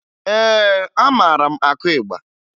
Ee, amara m akụ ịgba